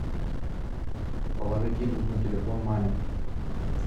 положить деньги на телефон маме